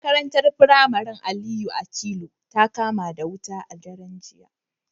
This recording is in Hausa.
Makarantar firamare ta Aliyu Akilu ta kama wuta a daren jiya